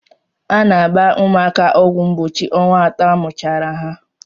A na-agba ụmụaka ọgwụ mgbochi ọnwa atọ amụchara ha.